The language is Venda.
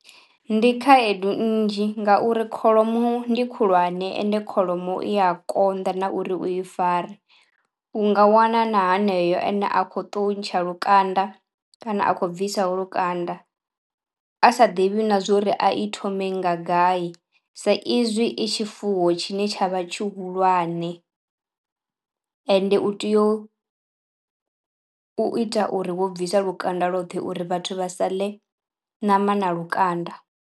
Ndi khaedu nnzhi ngauri kholomo ndi khulwane ende kholomo i a konḓa na uri u i fare. U nga wana na haneyo ene a kho to ntsha lukanda kana a khou bvisaho lukanda a sa ḓivhi na zwo uri a i thome nga gai sa izwi i tshifuwo tshine tsha vha tshihulwane ende u teo u u ita uri wo bvisa lukanda lwoṱhe uri vhathu vha sa ḽe ṋama na lukanda.